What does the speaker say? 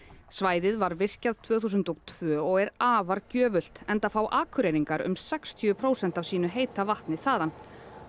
svæðið var virkjað tvö þúsund og tvö og er afar gjöfult enda fá Akureyringar um sextíu prósent af sínu heita vatni þaðan